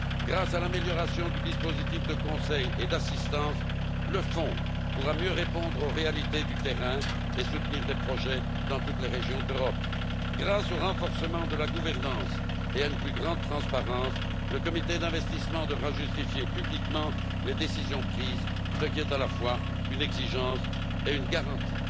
Grâce à l'amélioration du dispositif de conseil et d'assistance, le Fonds pourra mieux répondre aux réalités du terrain et soutenir des projets dans toutes les régions d'Europe. Grâce au renforcement de la gouvernance et à une plus grande transparence, le comité d'investissement devra justifier publiquement les décisions prises, ce qui est à la fois une exigence et une garantie.